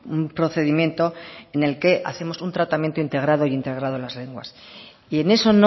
un procedimiento en el que hacemos un tratamiento integrado e integrado en las lenguas y en eso